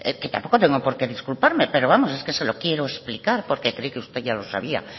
que tampoco tengo que porque disculparme pero vamos es que se lo quiero explicar porque creí que usted ya lo sabía